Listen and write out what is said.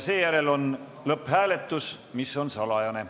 Seejärel on lõpphääletus, mis on salajane.